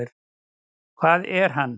Hvað er hann?